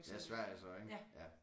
Ja Sverige så ikke ja